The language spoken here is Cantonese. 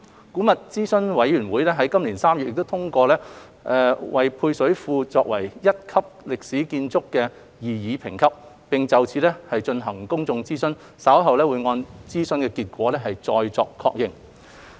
古物諮詢委員會於今年3月已通過配水庫為擬議一級歷史建築，並就此進行公眾諮詢，稍後會按諮詢結果再作確認。